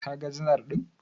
Kaga janar ɗin?